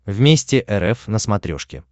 вместе рф на смотрешке